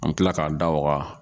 An mi kila k'a da waga